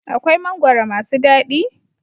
Akwai mangwaro masu dadi?